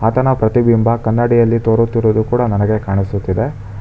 ಆತನ ಪ್ರತಿಬಿಂಬ ಕನ್ನಡಿಯಲ್ಲಿ ತೋರುತ್ತಿರುವುದು ಕೂಡ ನನಗೆ ಕಾಣಿಸುತ್ತಿದೆ.